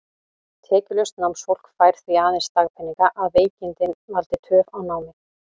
Tekjulaust námsfólk fær því aðeins dagpeninga, að veikindin valdi töf á námi.